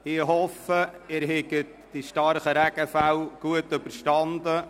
Ich hoffe, Sie haben die starken Regenfälle gut überstanden.